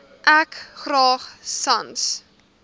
ek graag sans